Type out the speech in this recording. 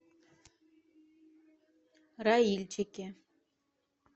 раильчике